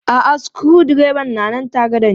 A'a sukuru dreban na nan tare da ne.